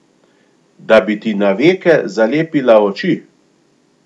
Da bi ti na veke zalepila oči!